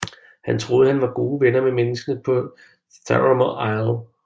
Han troede at han var gode venner med menneskerne på Theramore Isle